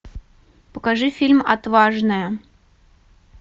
покажи фильм отважная